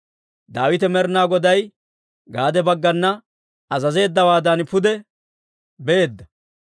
Daawite Med'inaa Goday Gaade baggana azazeeddawaadan pude beedda.